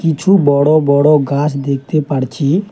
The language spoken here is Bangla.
কিছু বড়ো বড়ো গাছ দেখতে পারছি।